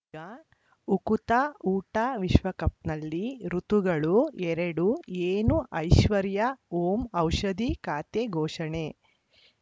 ಈಗ ಉಕುತ ಊಟ ವಿಶ್ವಕಪ್‌ನಲ್ಲಿ ಋತುಗಳು ಎರಡು ಏನು ಐಶ್ವರ್ಯಾ ಓಂ ಔಷಧಿ ಖಾತೆ ಘೋಷಣೆ